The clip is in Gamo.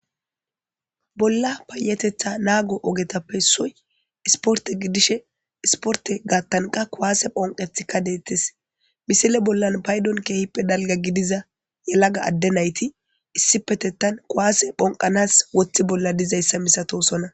bolla payetetha naago ogetappe soy isporte gidishe isporte gaattanqa kuwaase phonqetikka deettes misile bollan paydon keehippe dalga gidiza yelaga adde nayti issi petettan kuaase phonqanas woththi bolla dizayssa misatosona